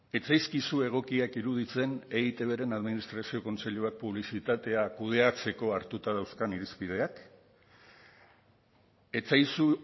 ez zaizkizu egokiak iruditzen eitbren administrazio kontseiluak publizitatea kudeatzeko hartuta dauzkan irizpideak ez zaizu